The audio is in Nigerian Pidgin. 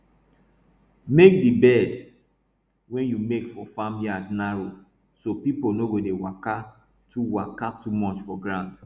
make di bed wey you make for farm yard narrow so people no go dey waka too waka too much for ground